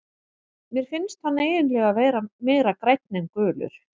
Mér finnst hann eiginlega vera meira grænn en gulur.